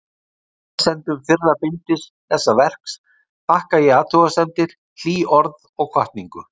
Lesendum fyrra bindis þessa verks þakka ég athugasemdir, hlý orð og hvatningu.